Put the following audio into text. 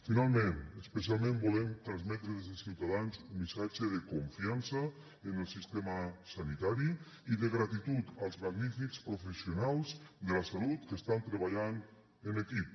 finalment especialment volem transmetre des de ciutadans un missatge de confiança en el sistema sanitari i de gratitud als magnífics professionals de la salut que estan treballant en equip